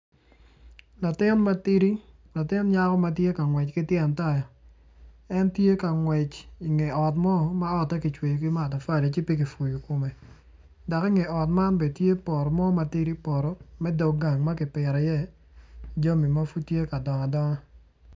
Latin matidi latin nyako ma tye ka ngwec ki tyen taya en tye ka ngwec inge ot mo ma otte kicweyo ki matafali ci pe kicweyo kome dok inge ot man bene tye poto mo matidi poto me dog gang ma kipito iye jami ma pud tye ka dongo adonga.